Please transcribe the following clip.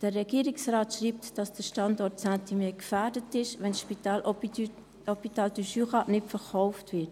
Der Regierungsrat schreibt, der Standort Saint-Imier sei gefährdet sei, wenn das HJB nicht verkauft wird.